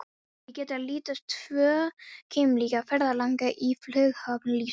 Hér getur að líta tvo keimlíka ferðalanga í flughöfn lífsins.